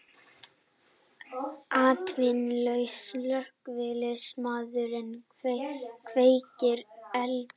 Atvinnulaus slökkviliðsmaður kveikir elda